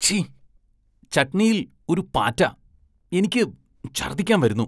ഛി, ചട്ണിയില്‍ ഒരു പാറ്റ, എനിക്ക് ഛര്‍ദ്ദിക്കാന്‍ വരുന്നു.